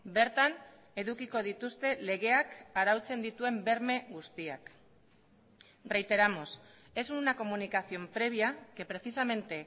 bertan edukiko dituzte legeak arautzen dituen berme guztiak reiteramos es una comunicación previa que precisamente